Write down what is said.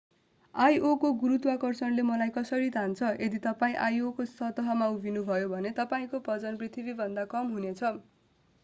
io को गुरुत्वाकर्षणले मलाई कसरी तान्छ यदि तपाईं io को सतहमा उभिनुभयो भने तपाईंको वजन पृथ्वीमाभन्दा कम हुनेछ